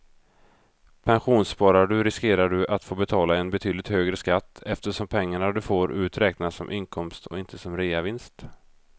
Pensionssparar du riskerar du att få betala en betydligt högre skatt eftersom pengarna du får ut räknas som inkomst och inte som reavinst.